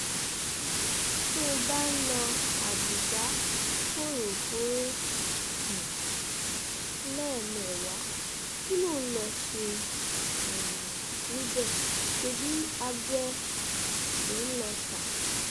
tó bá ń lo àbùjá fòròfóró um lẹ́ẹ̀mẹ́wàá kí ló ń lọọ́ ṣe um níbẹ̀ ṣebí abẹ ló ń lọọ ta